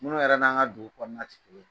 Munnu yɛrɛ n'an ka dugu kɔnɔna ti